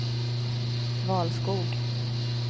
Valskog